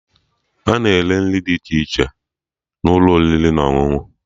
Ana ere nri dị iche n'ụlọ oriri na ọṅụṅụ